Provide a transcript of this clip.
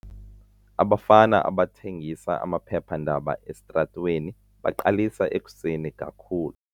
Abafana abathengisa amaphephandaba esitratweni baqalisa ekuseni kakhulu.